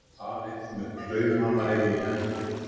Aleinn með klaufhamarinn í hendinni.